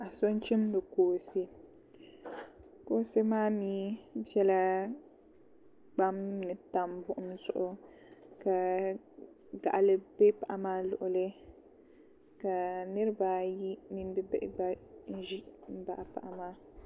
Paɣa so n chimdi kooshɛ kooshɛ maa mii bɛla kpam ni n tam buɣum zuɣu ka gaɣali bɛ paɣa maa luɣuli ka nirabaayi mini bihi ʒi n baɣa paɣa maa